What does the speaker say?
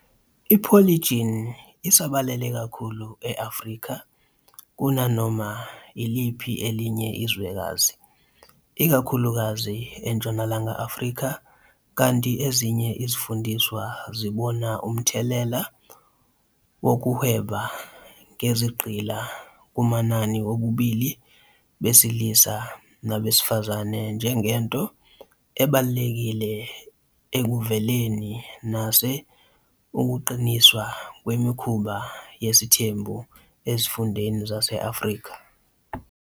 I-Polygyny isabalele kakhulu e- Afrika kunanoma iliphi elinye izwekazi, ikakhulukazi eNtshonalanga Afrika, kanti ezinye izifundiswa zibona umthelela wokuhweba ngezigqila kumanani wobulili besilisa nabesifazane njengento ebalulekile ekuveleni nase ukuqiniswa kwemikhuba yesithembu ezifundeni zase-Afrika.